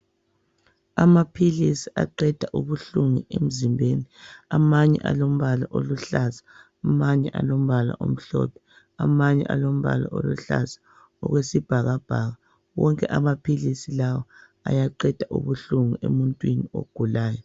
Amaphilisi aqeda ubuhlungu emzimbeni amanye alombala oluhlaza amanye alombala omhlophe amanye alombala oluhlaza okwesibhakabhaka wonke amaphilisi lawa ayaqeda ubuhlungu emuntwini ogulayo